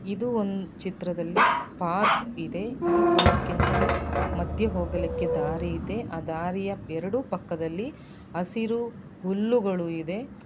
ಇದು ಒಂದ್ ಚಿತ್ರದಲ್ಲಿ ಪಾರ್ಕ್ ಇದೆ ಈ ಪಾರ್ಕ್ನಲ್ಲಿ ಮಧ್ಯೆ ಹೋಗಲಿಕ್ಕೆ ದಾರಿ ಇದೆ ಆ ದಾರಿಯ ಎರಡೂ ಪಕ್ಕದಲ್ಲಿ ಎರಡು ಪಕ್ಕದಲ್ಲಿ ಹಸಿರು ಹುಲ್ಲುಗಳು ಇದೆ.